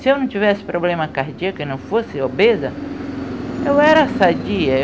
Se eu não tivesse problema cardíaco e não fosse obesa, eu era sadia.